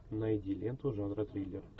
найди ленту жанра триллер